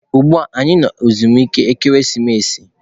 Ugbua anyi no na ezumike ekeresimesi.